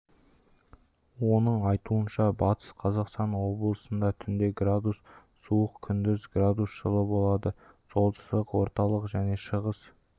оның айтуынша батыс қазақстан облысында түнде градус суық күндіз градус жылы болады солтүстік орталық және шығыс